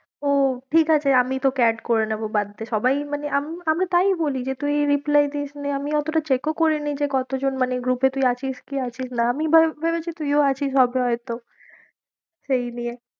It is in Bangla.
ও ঠিক আছে আমি তোকে add করে নেবো, বাদ দে সবাই মানে আমি তো তাই বলি যে তুই reply দিসনি আমি অতটা check ও করিনি, যে কতজন মানে group এ তুই আছিস কি আছিস না, আমি এবার ভেবেছি তুইও আছিস হবে হয়তো সেই নিয়ে